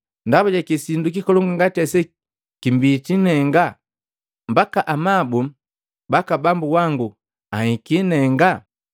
Ndaba jaki sindu kikolongu ngati ase kimbitii nenga, mbaka amabu baka Bambu wangu anhiki nenga?